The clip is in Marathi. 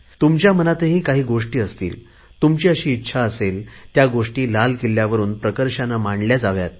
तुमच्या मनातही काही गोष्टी असतील तुमची अशी इच्छा असेल त्या गोष्टी लाल किल्ल्यावरुन प्रखरतेने मांडल्या जाव्यात